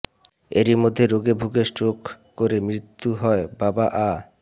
এরইমধ্যে রোগে ভুগে স্ট্রোক করে মৃত্যু হয় বাবা আ